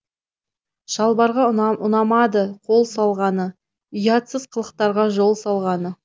шалбарға ұнамады қол салғаны ұятсыз қылықтарға жол салғаны